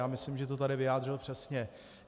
Já myslím, že to tady vyjádřil přesně.